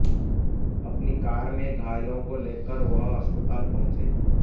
अपनी कार में घायलों को लेकर वह अस्पताल पहुंचे